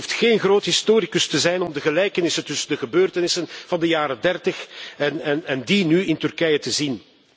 Je hoeft geen groot historicus te zijn om de gelijkenissen tussen de gebeurtenissen van de jaren dertig en die nu in Turkije te zien.